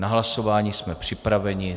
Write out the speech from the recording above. Na hlasování jsme připraveni.